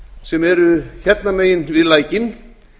sem eru hérna megin við lækinn